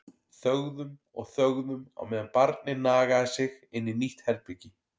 Þögðum og þögðum á meðan barnið nagaði sig inn í nýtt herbergi.